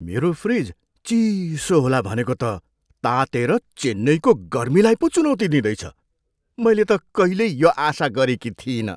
मेरो फ्रिज चिसो होला भनेको त तातेर चेन्नईको गर्मीलाई पो चुनौती दिँदैछ, मैले त कहिल्यै यो आशा गरेको थिइनँ!